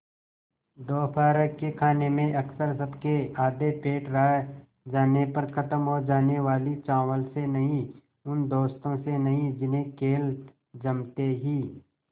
दोपहर के खाने में अक्सर सबके आधे पेट रह जाने पर ख़त्म हो जाने वाले चावल से नहीं उन दोस्तों से नहीं जिन्हें खेल जमते ही